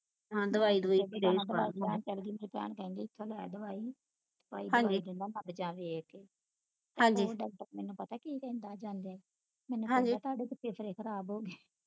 ਮੇਰੀ ਭੈਣ ਕਹਿੰਦੀ ਇਥੋਂ ਲੈ ਦਵਾਈ ਜਾ ਵੇਖ ਕੇ ਉਹ doctor ਮੈਨੂੰ ਪਤਾ ਕੀ ਕਹਿੰਦਾ ਜਾਂਦੇ ਮੈਨੂੰ ਕਹਿੰਦਾ ਤੁਹਾਡੇ ਤੇ ਫੇਫੜੇ ਖਰਾਬ ਹੋ ਗਏ